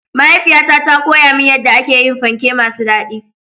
Mahaifiyata ta koya min yadda ake yin panke masu daɗi.